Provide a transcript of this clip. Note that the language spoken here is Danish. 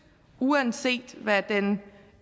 uanset hvad den